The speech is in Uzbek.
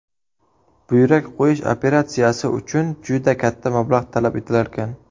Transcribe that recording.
Buyrak qo‘yish operatsiyasi uchun juda katta mablag‘ talab etilarkan.